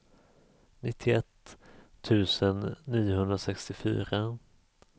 nittioett tusen niohundrasextiofyra